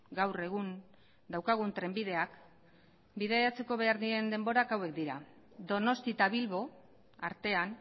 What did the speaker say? gaur egun daukagun trenbidea bidaiatzeko behar diren denborak hauek dira donostia eta bilbo artean